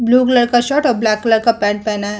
Blue colour का shirt और black colour का पेंट पहना है।